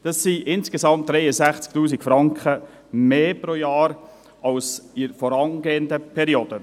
Dies sind insgesamt 63 000 Franken mehr pro Jahr als in den vorangehenden Perioden.